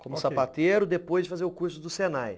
como sapateiro depois de fazer o curso do Senai.